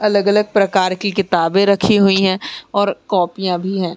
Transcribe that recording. अलग-अलग प्रकार की किताबे रखी हुईं है और कौपियाँ भी हैं।